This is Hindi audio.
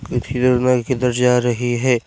ये भीड़ में किधर जा रही है।